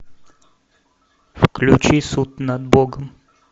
включи суд над богом